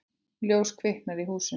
Ljós kviknar í húsinu.